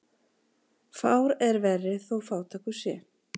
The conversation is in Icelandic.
Fár er verri þó fátækur sé.